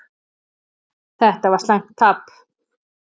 Þetta var slæmt tap.